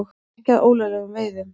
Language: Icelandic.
Ekki að ólöglegum veiðum